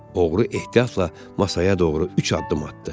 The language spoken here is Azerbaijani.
Oğru ehtiyatla masaya doğru üç addım atdı.